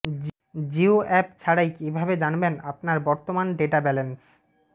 Jio app ছাড়াই কিভাবে জানবেন আপনার বর্তমান ডেটা ব্যালেন্স